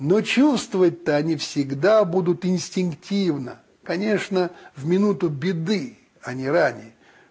ну чувствовать то они всегда будут инстинктивно конечно в минуту беды а не ранее